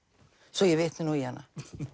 svo ég vitni nú í hana